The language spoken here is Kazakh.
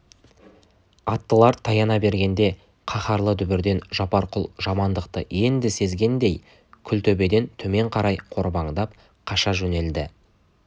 аттылар таяна бергенде қаһарлы дүбірден жапарқұл жамандықты енді сезгендей күл төбеден төмен қарай қорбаңдап қаша жөнелді